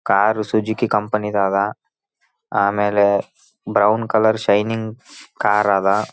Car Suzuki ಕಂಪೆನಿದು ಅದ ಆಮೇಲೆ ಬ್ರೌನ್‌ ಕಲರ್‌ ಶೈನಿಂಗ್‌ ಕಾರ್ ಅದ.